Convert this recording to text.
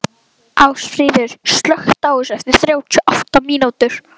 Ásfríður, slökktu á þessu eftir þrjátíu og átta mínútur.